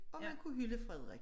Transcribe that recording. Og man kunne hylde Frederik